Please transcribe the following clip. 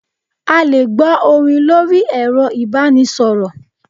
A lè gbọ́ orin lórí ẹ̀rọ ìbánisọ̀rọ̀.